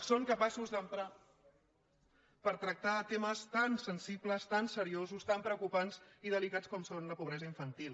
són capaços d’emprar per tractar temes tan sen·sibles tan seriosos tan preocupants i delicats com és la pobresa infantil